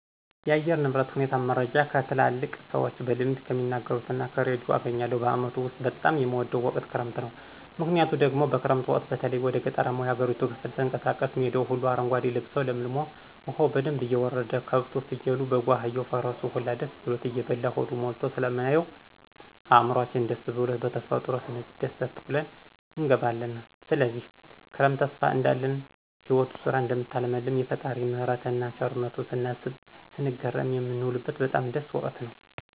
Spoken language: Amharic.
የአየር ንብረት ሁኔታን መረጃ ከትላልቅ ሰዎች በልምድ ከሚናገሩት እና ከርዲዮ አገኛለሁ። በአመቱ ውስጥ በጣም የምወደው ወቅት ክረምት ነው። ምክንያቱ ደግሞ በክረምት ወቅት በተለይ ወደ ገጠራማው የሀገሪቱ ክፍል ስንቀሳቀስ ሜዳው ሁሉ አረጓዴ ልብሶ ለምልሞ፣ ዉሀው በደንብ እየወረደ፣ ከብቱ፣ ፍየሉ፣ በጉ፣ አህያው፣ ፈረሱ ሁላ ደስ ብሎት እየበላ ሆዱ ሞልቶ ስለምናየው እዕምሯችን ደስስ ብሉት በተፈጥሮ ስንደሰት ውለን እንገባለን። ስለዚህ ክረምት ተስፋ እንዳለን ህይወት ዙራ እደምታለመልም፣ የፈጣሪን ምህረትን እና ቸርነቱን ስናስብ ስንገረም የንውልበት በጣም ደስ ወቅት ነው።